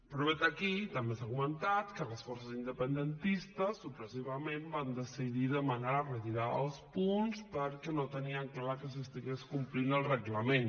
però vet aquí també s’ha comentat que les forces independentistes sorpresivament van decidir demanar la retirada dels punts perquè no tenien clar que s’estigués complint el reglament